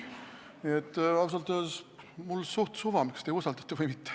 Nii et ausalt öeldes on mul suht suva, kas te usaldate või mitte.